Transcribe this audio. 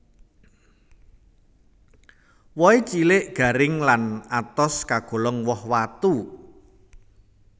Wohé cilik garing lan atos kagolong woh watu